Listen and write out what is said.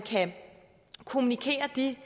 vi